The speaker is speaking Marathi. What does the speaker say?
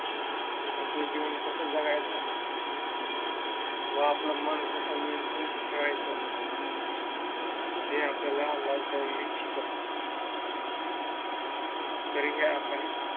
आपलं जीवन कस जगायचं व आपलं मन कस नियंत्रित ठेवायचं हे आपल्याला लॉकडाउन ने शिकवलं तरीही आपण